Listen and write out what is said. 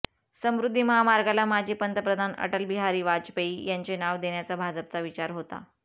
समृद्धी महामार्गाला माजी पंतप्रधान अटलबिहारी वाजपेयी यांचे नाव देण्याचा भाजपचा विचार होता